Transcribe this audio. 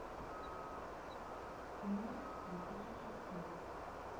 эмма две тысячи семь